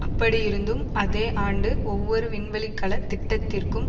அப்படியிருந்தும் அதே ஆண்டு ஒவ்வொரு விண்வெளிக்கல திட்டத்திற்கும்